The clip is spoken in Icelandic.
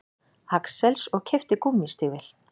Axels og keypti gúmmístígvél.